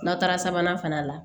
N'a taara sabanan fana la